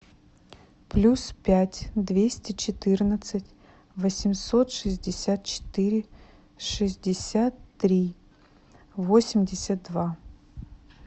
плюс пять двести четырнадцать восемьсот шестьдесят четыре шестьдесят три восемьдесят два